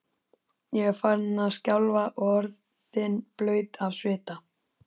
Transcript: Ég var farin að skjálfa og orðin blaut af svita.